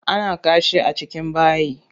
Ana kashi a cikin bayi.